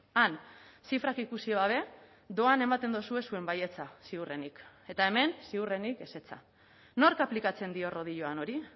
han zifrak ikusi gabe doan ematen duzue zuen baietza ziurrenik eta hemen ziurrenik ezetza nork aplikatzen dio rodiloan hori